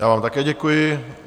Já vám také děkuji.